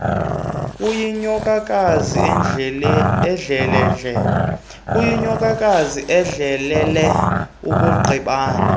kuyinyokakazi ehlelele ukugqibana